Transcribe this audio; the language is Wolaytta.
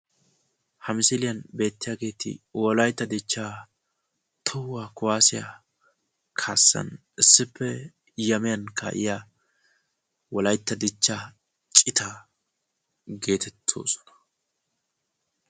Ha misiliyan beettiyaageeti wolayitta dichchaa tohuwaa kaassan issippe yamiyaan kaa"iya wolayitta dichchaa citaa geetettoosona.